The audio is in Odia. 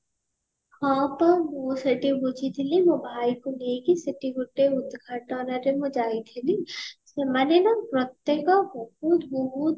ହଁ ପା ମୁଁ ସେଠି ବୁଝିଥିଲି ମୋ ଭାଇ କୁ ନେଇକି ସେଠି ଗୋଟେ ଉଦ୍ଘାଟନ ରେ ମୁଁ ଯାଇଥିଲି ସେମାନେ ନା ପ୍ରତ୍ୟକ ବହୁତ ବହୁତ